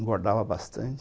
Engordava bastante.